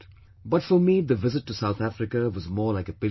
But for me the visit to South Africa was more like a pilgrimage